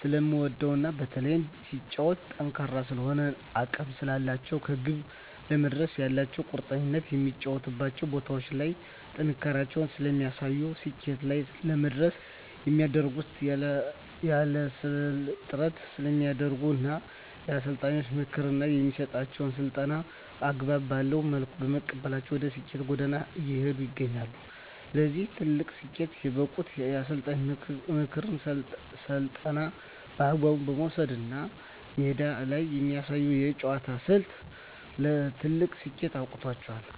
ስለምወደዉ እና በተለይም ሲጫወቱም ጠንካራ ስለሆኑ እና አቅም ስላላቸዉ ከግብ ለመድረስ ያላቸዉ ቁርጠኝነት በሚጫወቱባቸዉ ቦታዎች ላይ ጥንካሬያቸውን ስለሚያሳዩ ስኬት ላይ ለመድረስ የሚያደርጉት ያላለሰለሰ ጥረት ስለሚያደርጉ እና የአሰልጣኛቸዉን ምክር እና የሚሰጣቸዉን ስልጠና አግባብ ባለዉ መልኩ በመቀበላቸዉ ወደ ስኬት ጎዳና እየሄዱ ይገኛሉ ለዚህ ትልቅ ስኬት የበቁት የአሰልጣኝን ምክርና ስልጠና በአግባቡ መዉሰዳቸዉ ነዉ እና ሜዳ ላይ የሚያሳዩት የአጨዋወት ስልት ለትልቅ ስኬት አብቅቷቸዋል